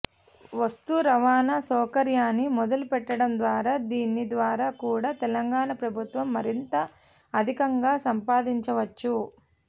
వస్తు రవాణా సౌకర్యాన్ని మొదలుపెట్టడంద్వారా దీని ద్వారా కూడా తెలంగాణ ప్రభుత్వం మరింత అధికంగా సంపాదించవచ్చు